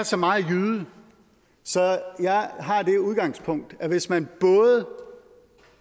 så meget jyde at jeg har det udgangspunkt at hvis man